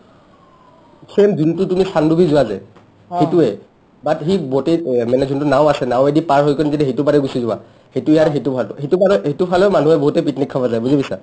same যোনটো তুমি চানডুবি যোৱা যে সিটোৱে but সি বোটে মানে যোনটো নাওঁ আছে নাৱেদি পাৰ হৈ কিনে যদি সেটো পাৰে গুচি যোৱা সিটোৱে আৰু সিটো পাৰটো সিটো পাৰেও সিটো ফালেও মানুহে বহুতে picnic খাবলৈ যায় বুজি পাইছা